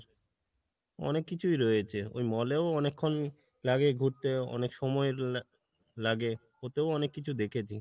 অনেক কিছুই রয়েছে, ওই mall এও অনেকখন লাগে ঘুরতে অনেক সময় লা~ লাগে ওতেও অনেক কিছু দেখছি।